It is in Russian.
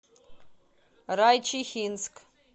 райчихинск